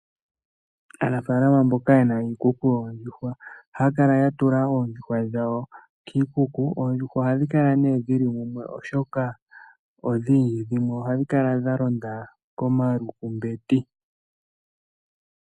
Aanafalama mboka ye na iikuku yoondjuhwa ohaya kala ya tula oondjuhwa dhawo kiikuku. Oondjuhwa ohadhi kala nee dhi li mumwe, oshoka odhindji. Dhimwe ohadhi kala dha londa komalukumbeti.